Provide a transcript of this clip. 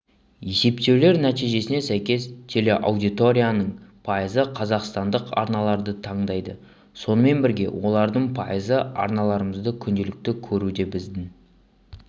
есептеулер нәтижесіне сәйкес телеаудиторияның пайызы қазақстандық арналарды таңдайды сонымен бірге олардың пайызы арналарымызды күнделікті көруде біздің